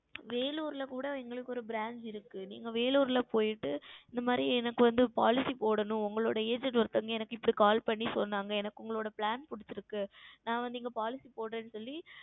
Vellore ல கூட எங்களுக்கு ஓர் Branch இருக்கிறது நீங்கள் Vellore ல சென்று விட்டு இந்த மாதிரி எனக்கு வந்து Policy போடவேண்டும் உங்கள் Agent ஒருத்தர் எனக்கு இப்படி Call செய்து சொன்னார்கள் எனக்கு உங்களுடைய Plan புடித்துள்ளது நான் வந்து இங்கே Policy போடுகிறேன் என்று சொல்லி